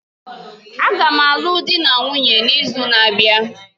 Agam alụọ di na nwunye n'izu na-abịa